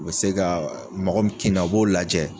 U bɛ se ka, mɔgɔ min kinna, o b'o lajɛ.